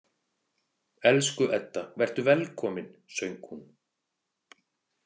Elsku Edda, vertu velkomin, söng hún.